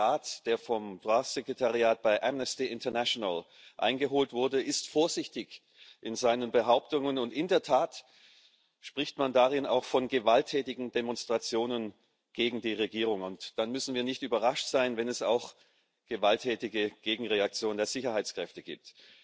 Selbst der Rat, den das Sekretariat des DROI Ausschusses bei Amnesty International eingeholt hat, ist vorsichtig in seinen Behauptungen, und in der Tat spricht man darin auch von gewalttätigen Demonstrationen gegen die Regierung. Dann müssen wir nicht überrascht sein, wenn es auch gewalttätige Gegenreaktionen der Sicherheitskräfte gibt.